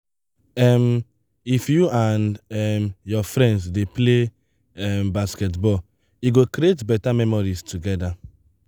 um if you and um your friends dey play um basketball e go create better memories together.